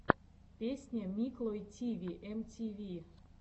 песня миклой тиви эм ти ви